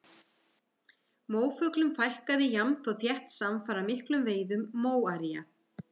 Móafuglum fækkaði jafnt og þétt samfara miklum veiðum maóría.